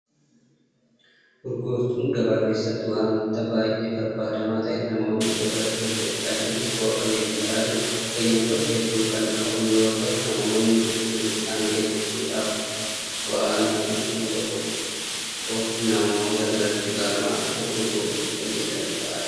Urgooftuun gabaa keessatti waanta baay'ee barbaadamaa ta'edha. Namoonni isa irratti hojjechaa jiranis bu'a qabeeyyii ta'aa jiru. Fayyadamtoota hedduu kan qabu yeroo ta'u namoonni qulqullina isaanii eeggachuudhaaf waanti bu'uuraa tokko namoota biratti baramaa dhufe urgooftuu fayyadamuu ta'aa jira.